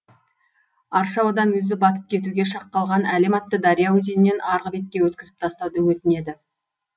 арша одан өзі батып кетуге шақ қалған әлем атты дария өзеннен арғы бетке өткізіп тастауды өтінеді